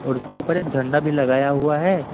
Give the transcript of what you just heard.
और उसके ऊपर एक झंडा भी लगाया हुआ है।